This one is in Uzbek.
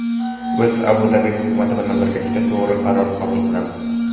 Biz Abu-Dabi Hukumati bilan birgalikda to‘g‘ri qaror qabul qilamiz.